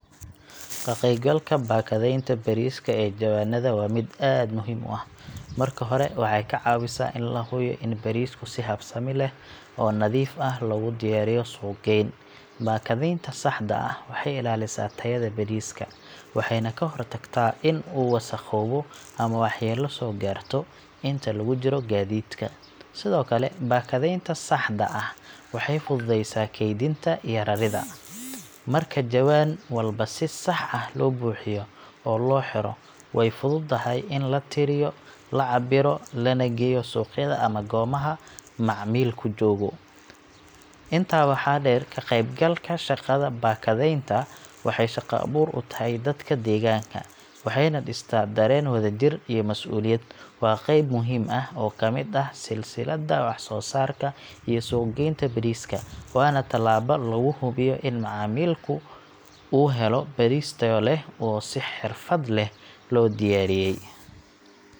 Ka qaybgalka baakadaynta bariiska ee jawaanada waa mid aad muhiim u ah. Marka hore, waxay ka caawisaa in la hubiyo in bariisku si habsami leh oo nadiif ah loogu diyaariyo suuq-geyn. Baakadaynta saxda ah waxay ilaalisaa tayada bariiska, waxayna ka hortagtaa in uu wasakhoobo ama waxyeelo soo gaarto inta lagu jiro gaadiidka. Sidoo kale, baakadaynta saxda ah waxay fududeysaa kaydinta iyo raridda. Marka jawaan walba si sax ah loo buuxiyo oo loo xiro, way fududahay in la tiriyo, la cabbiro, lana geeyo suuqyada ama goobaha macmiilku joogo. Intaa waxaa dheer, ka qaybgalka shaqada baakadaynta waxay shaqo-abuur u tahay dadka deegaanka, waxayna dhistaa dareen wadajir iyo mas’uuliyad. Waa qayb muhiim ah oo ka mid ah silsiladda waxsoosaarka iyo suuq-geynta bariiska, waana tallaabo lagu hubiyo in macaamilka uu helo bariis tayo leh oo si xirfad leh loo diyaariyay.